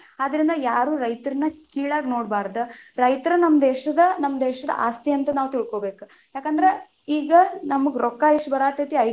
ಆದರಿಂದ ಯಾರೂ ರೈತರನ್ನ ಕೀಳಾಗಿ ನೋಡ್ಬಾರದ, ರೈತರ ನಮ್ಮ ದೇಶದ ನಮ್ಮ ದೇಶದ ಆಸ್ತಿ ಅಂತ ನಾವ ತಿಳ್ಕೊಬೇಕ, ಯಾಕಂದ್ರ ಈಗ ನಮ್ಗ ರೊಕ್ಕ ಇಷ್ಟ ಬರಾತೀತಿ.